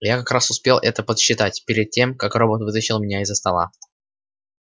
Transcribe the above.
я как раз успел это подсчитать перед тем как робот вытащил меня из-за стола